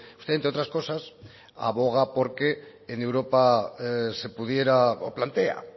usted entre otras cosas aboga por que en europa se pudiera o plantea